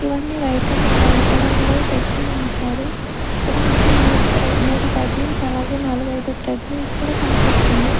ఇవన్నీ white and brown colour లో పెట్టి ఉంచారు ఇక్కడ మనకి మూడు థ్రె మూడు సైక్లింగ్ అలాగే నాలుగైదు థ్రెడ్మిల్స్ కూడా కన్పిస్తున్నయ్.